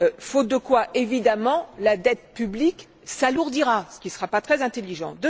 faute de quoi, évidemment, la dette publique s'alourdira, ce qui ne sera pas très intelligent.